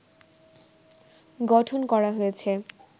গঠন করা হয়েছে